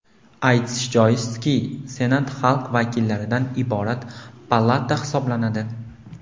Aytish joizki, Senat xalq vakillaridan iborat palata hisoblanadi.